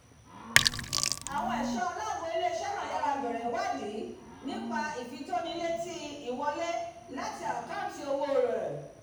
àwọn ẹ̀ṣọ́ aláàbò ilé-iṣẹ́ náà yára bẹ̀rẹ̀ ìwádìí nípa ìfitónilétí ìwọlé láti àkáǹtì òwò rẹ̀